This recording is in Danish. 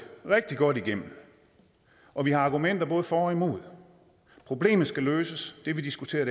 rigtig godt igennem og vi har argumenter både for og imod problemet skal løses det vi diskuterer